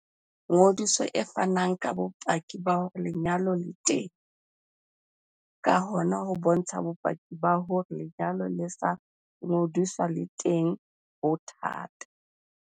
Ngodiso e fana ka bopaki ba hore lenyalo le teng, ka hona ho bontsha bopaki ba hore lenyalo le sa ngodiswang le teng ho thata.